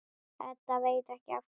Edda veit ekki af hverju.